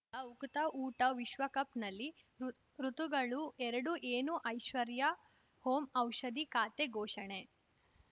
ಗ ಉಕುತ ಊಟ ವಿಶ್ವಕಪ್‌ನಲ್ಲಿ ಋತ್ ಋತುಗಳು ಎರಡು ಏನು ಐಶ್ವರ್ಯಾ ಓಂ ಔಷಧಿ ಖಾತೆ ಘೋಷಣೆ